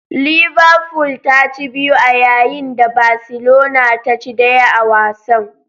Liverful ta ci biyu a yayin da Barcelona ta ci daya a wasan.